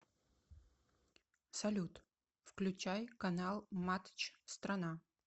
салют включай канал матч страна